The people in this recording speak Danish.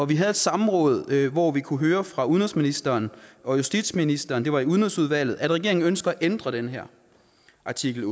vi havde et samråd hvor vi kunne høre fra udenrigsministeren og justitsministeren det var i udenrigsudvalget at regeringen ønsker at ændre den her artikel